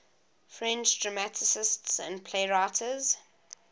french dramatists and playwrights